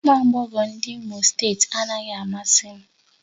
Ụmụ agbọghọ ndị Imo steeti anaghị amasị m